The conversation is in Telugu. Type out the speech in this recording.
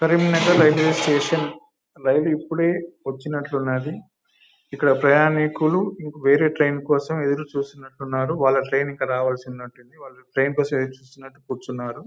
కరీంనగర్ రైల్వే స్టేషన్ రైలు ఇప్పుడే వచ్చినట్లు ఉన్నది ఇక్కడ ప్రయాణికులు వేరే ట్రైన్ కోసం ఎదురు చూస్తున్నట్టున్నారు వాళ్ల ట్రైన్ ఇంకా రావాల్సినట్టు ఉంది ట్రైన్ కోసం ఎదురు చూస్తూ నట్టు కూర్చున్నారు.